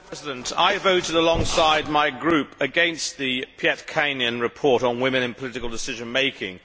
Madam President, I voted alongside my group against the Pietikäinen report on women in political decision making.